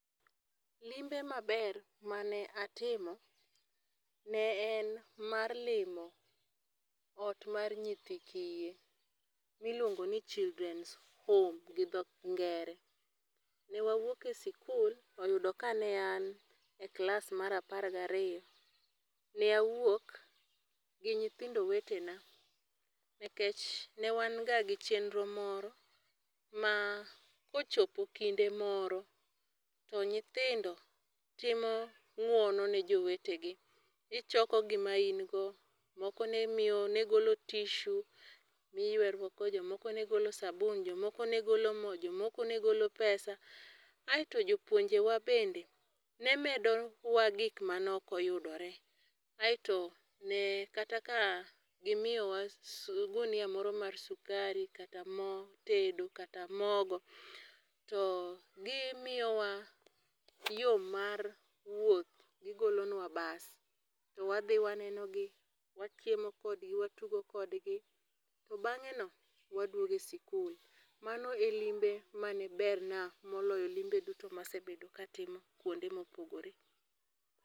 Limbe maber mane atimo, ne en mar limo ot mar nyithi kiye, miluongoni children's home gi dho ngere. Ne wawuok e sikul, oyudo ka ne an e klas ma apar gi ariyo. Ne awuok gi nyithindo wetena, nikech ne wan ga gi chenro moro ma kochopo kinde moro to nyithindo timo ngwono ne jowetegi. Ichoko gima in go. Moko ne miyo, ne golo tissue miywerruok go, jomoko ne golo sabun, jomoko ne golo mo, jomoko ne golo pesa. Aeto jopuonjewa bende, ne medowa gik mane ok oyudore. Aeto ne kata ka gimiyowa gunia moro mar sukari, kata mo tedo, kata mogo. To gimiyowa yo mar wuoth. Gigolonwa bus, to wadhi wanenogi, wachiemo kodgi, watugo kodgi. To bangé no waduogo e sikul. Mano e limbe mane ber na moloyo limbe duto ma asebedo ka atimo kuonde mopogore.